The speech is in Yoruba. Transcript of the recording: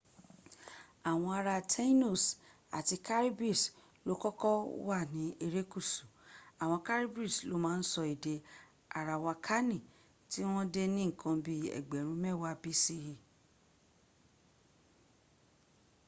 àwọn ará taínos àti caribes ló kọ́kọ́ wà ní erékùsù. àwọn caribes ló má ń sọ èdè arawakani tí wọ́n dé ní ǹkan bi ẹgbẹ̀rún mẹ́wàá bce